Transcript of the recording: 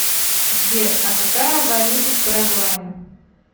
сбер а какая валюта в парагвае